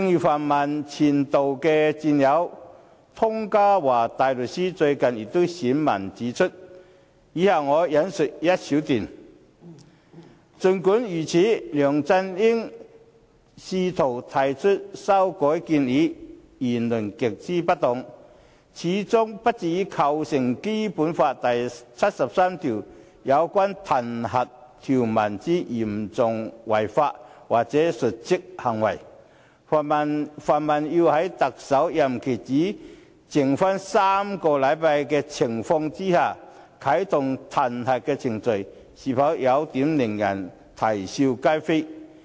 泛民的前度戰友湯家驊大律師最近便撰文指出——以下我引述一小段——"儘管如此，梁振英試圖提出修改建議、言論極之不當，始終不至構成《基本法》第73條有關彈劾條文之'嚴重違法'或'瀆職行為'，泛民要在特首任期只剩不足6個星期之情況下啟動彈劾程序，是否有點令人啼笑皆非？